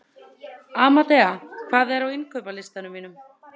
Amadea, hvað er á innkaupalistanum mínum?